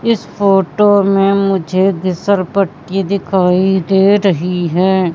इस फोटो में मुझे फिसल पट्टी दिखाई दे रही है।